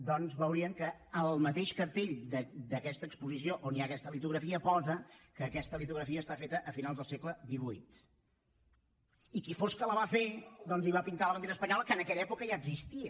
doncs veurien que al mateix cartell d’aquesta exposició on hi ha aquesta litografia posa que aquesta litografia està feta a finals del segle xviiila va fer doncs hi va pintar la bandera espanyola que en aquella època ja existia